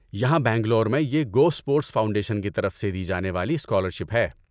یہاں بنگلور میں یہ گو اسپورٹس فاؤنڈیشن کی طرف سے دی جانے والی اسکالرشپ ہے۔